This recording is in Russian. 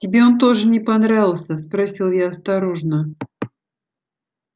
тебе он тоже не понравился спросила я осторожно